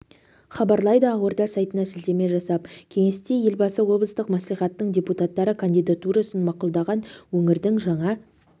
хабарлайды ақорда сайтына сілтеме жасап кеңесте елбасы облыстық мәслихаттың депутаттары кандидатурасын мақұлдаған өңірдің жаңа